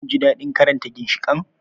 Shin kun ji daɗin karanta ginshiƙan?